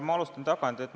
Ma alustan tagantpoolt.